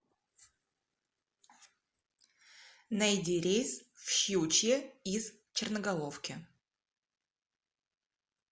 найди рейс в щучье из черноголовки